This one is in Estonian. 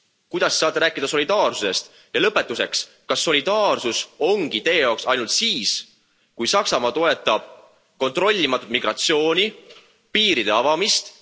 Kuidas Te saate rääkida solidaarsusest? Ja lõpetuseks, kas solidaarsus ongi Teie jaoks ainult see, kui Saksamaa toetab kontrollimatut migratsiooni ja piiride avamist?